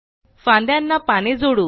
फांन्दयाना पाने जोडू